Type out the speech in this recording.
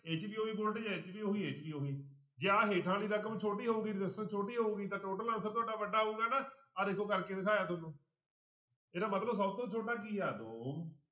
ਇਹ 'ਚ ਉਹੀ voltage ਹੈ ਇਹ 'ਚ ਵੀ ਉਹੀ, ਇਹ 'ਚ ਵੀ ਉਹੀ, ਜੇ ਆਹ ਹੇਠਾਂ ਵਾਲੀ ਰਕਮ ਛੋਟੀ ਹੋਊਗੀ resistance ਛੋਟੀ ਹੋਊਗੀ ਤਾਂ total answer ਤੁਹਾਡਾ ਵੱਡਾ ਆਊਗਾ ਨਾ, ਆਹ ਦੇਖੋ ਕਰਕੇ ਦਿਖਾਇਆ ਤੁਹਾਨੂੰ ਇਹਦਾ ਮਤਲਬ ਸਭ ਤੋਂ ਛੋਟਾ ਕੀ ਆ ਦੋ।